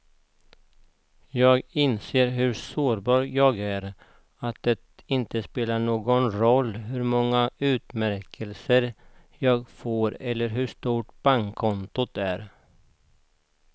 Jag inser hur sårbar jag är, att det inte spelar någon roll hur många utmärkelser jag får eller hur stort bankkontot är.